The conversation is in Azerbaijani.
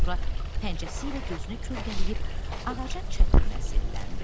Sonra pəncəsi ilə gözünü kölgələyib ağacın çətirinə zilləndi.